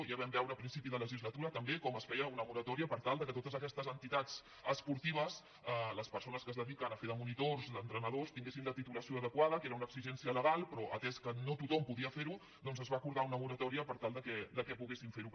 ja vam veure a principi de legislatura també com es feia una moratòria per tal que a totes aquestes entitats esportives les persones que es dediquen a fer de monitors d’entrenadors tinguessin la titulació adequada que era una exigència legal però atès que no tothom podia fer ho doncs es va acordar una moratòria per tal que poguessin fer ho